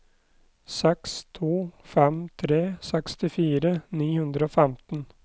seks to fem tre sekstifire ni hundre og femten